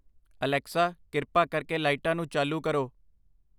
Alexa ਕਿਰਪਾ ਕਰਕੇ ਲਾਈਟਾਂ ਨੂੰ ਚਾਲੂ ਕਰੋ